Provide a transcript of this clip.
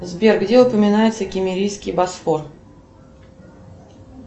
сбер где упоминается киммерийский босфор